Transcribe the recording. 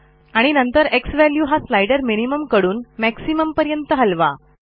आणि नंतर झ्वॅल्यू हा स्लाइडर मिनिमम कडून मॅक्सिमम पर्यंत हलवा